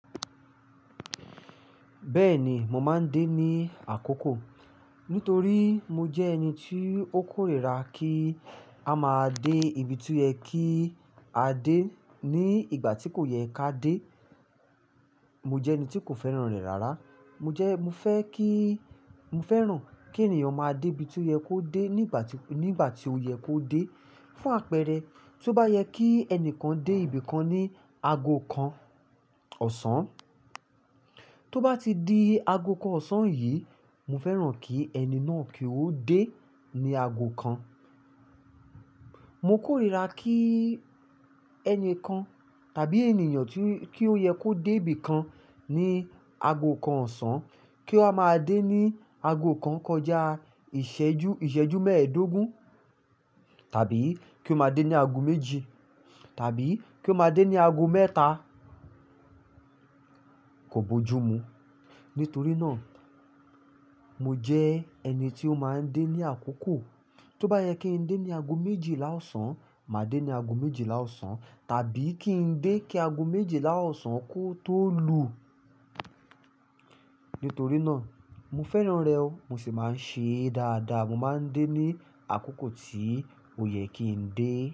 Bẹ́ẹ̀ni, mo máa ń dé ní àkókò. Nítorí mo jẹ́ ẹni tí ó kórìíra kí a máa dé ibi tí ó yẹ kí a dé ní ìgbà tí kò yẹ ká dé. Mo jẹ́ ẹni tí kò fẹ́ràn rẹ̀ rárá. Mo jẹ́-- mo fẹ́ kí, mo fẹ́ràn kí ènìyàn máa dé ibi tí ó yẹ kó dé ní ìgbà tí, ní ìgbà tí ó yẹ kó dé. Fún àpẹẹrẹ, tí ó bá yẹ kí ẹnìkan dé ibi kan ní ago kan ọ̀sán, tí ó bá ti di ago kan ọ̀sán yìí, mo fẹ́ràn kí ẹni náà kí ó dé ní ago kan. Mo kórìíra kí ẹni kan tàbí ènìyàn tí, kí ó yẹ kó dé ibi kan ní ago kan ọ̀sán, kí ó máa dé ní ago kan kọjá ìṣẹ́jú, ìṣẹ́jú mẹ́ẹ̀ẹ́dógún tàbí kí ó máa dé ní ago méjì tàbí kí ó máa dé ní ago mẹ́ta. Kò bojú mu. Nítorí náà, mo jẹ́ ẹni tí ó máa ń dé ní àkókò. Tí ó bá yẹ kí ń dé ní ago méjìlá ọ̀sán, màá dé ní ago méjìlá ọ̀sán tàbí kí ń dé kí ago méjìlá ọ̀sán kó tó lu. Nítorí náà, mo fẹ́ràn rẹ̀ o, mo sì máa ń ṣee dáadáa. Mo máa ń dé ní àkókò tí ó yẹ kí ń dé.